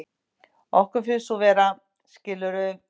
Okkur finnst þú vera, skilurðu.